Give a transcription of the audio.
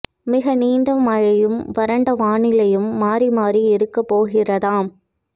மிக நீண்ட மழையும் வறண்ட வானிலையும் மாறி மாறி இருக்க போகிறதாம்